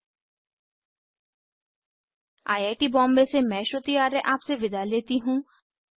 httpspoken tutorialorgNMEICT Intro I I T Bombay से मैं श्रुति आर्य आपसे विदा लेती हूँ